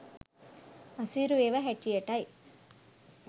අසීරු ඒවා හැටියටයි.